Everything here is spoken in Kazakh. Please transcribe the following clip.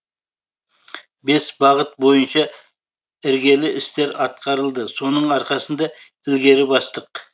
бес бағыт бойынша іргелі істер атқарылды соның арқасында ілгері бастық